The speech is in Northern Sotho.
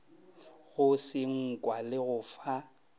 go senkwa le go fa